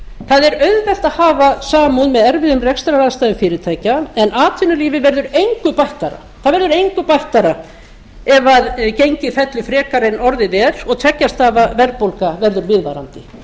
það er auðvelt að hafa samúð með erfiðum rekstraraðstæðum fyrirtækja en atvinnulífið verður engu bættara það verður engu bættara ef gengið fellur frekar en orðið er og tveggja stafa verðbólga verður viðvarandi